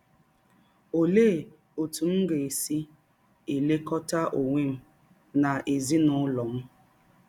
Ọlee ọtụ m ga - esi elekọta ọnwe m na ezinụlọ m?